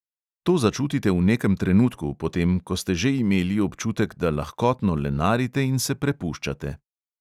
To začutite v nekem trenutku, potem ko ste že imeli občutek, da lahkotno lenarite in se prepuščate.